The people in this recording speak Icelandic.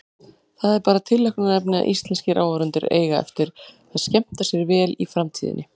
Það er bara tilhlökkunarefni að íslenskir áhorfendur eiga eftir að skemmta sér vel í framtíðinni.